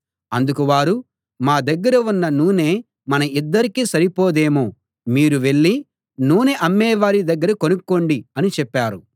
అందుకు వారు మా దగ్గర ఉన్న నూనె మన ఇద్దరికీ సరిపోదేమో మీరు వెళ్ళి నూనె అమ్మేవారి దగ్గర కొనుక్కోండి అని చెప్పారు